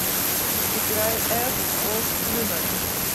играй эф оф люмен